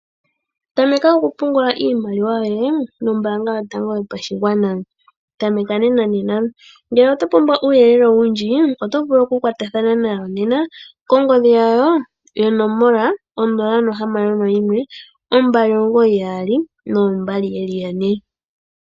Tameka oku pungula iimaliwa yoye nombaanga yotango yopashigwana, tameka nenanena. Ngele oto pumbwa uuyelele owundji oto vulu oku kwatathano nayo nena 0612992222.